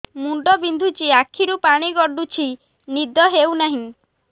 ମୁଣ୍ଡ ବିନ୍ଧୁଛି ଆଖିରୁ ପାଣି ଗଡୁଛି ନିଦ ହେଉନାହିଁ